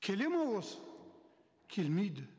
келеді ме осы келмейді